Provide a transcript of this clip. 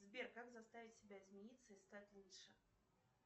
сбер как заставить себя измениться и стать лучше